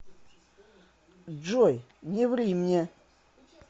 джой не ври мне